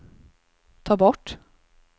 ta bort